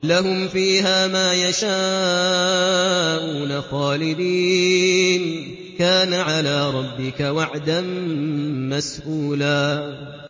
لَّهُمْ فِيهَا مَا يَشَاءُونَ خَالِدِينَ ۚ كَانَ عَلَىٰ رَبِّكَ وَعْدًا مَّسْئُولًا